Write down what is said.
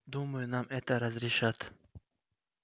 думаю нам это разрешат